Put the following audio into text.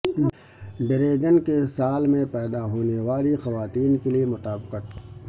dragon کے سال میں پیدا ہونے والی خواتین کے لئے مطابقت